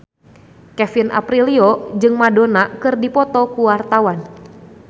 Kevin Aprilio jeung Madonna keur dipoto ku wartawan